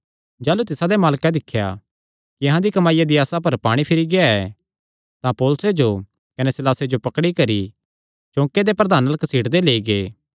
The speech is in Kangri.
जाह़लू तिसादे मालकां दिख्या कि अहां दी कमाईया दी आसा पर पाणी फिरी गेआ ऐ तां पौलुसे जो कने सीलासे जो पकड़ी करी चौके दे प्रधानां अल्ल घसीटदे लेई गै